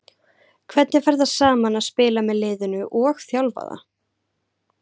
Hvernig fer það saman að spila með liðinu og þjálfa það?